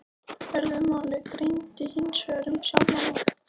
Öðru máli gegndi hinsvegar um sjálfan mig.